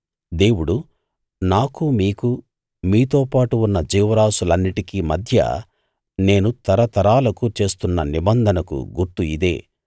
దేవుడు నాకు మీకు మీతోపాటు ఉన్న జీవరాసులన్నిటికీ మధ్య నేను తరతరాలకు చేస్తున్న నిబంధనకు గుర్తు ఇదే